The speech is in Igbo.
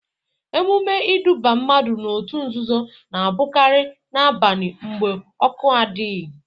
Emume iduba mmadụ n'otu nzuzo na abụkari na-abani mgbe ọkụ adịghị.